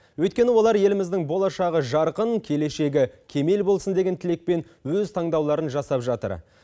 өйткені олар еліміздің болашағы жарқын келешегі кемел болсын деген тілекпен өз таңдауларын жасап жатыр